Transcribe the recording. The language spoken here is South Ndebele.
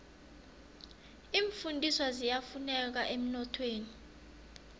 iimfundiswa ziyafuneka emnothweni